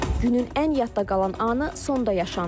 Günün ən yadda qalan anı sonda yaşanır.